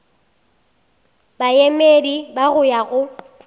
baemedi ba go ya go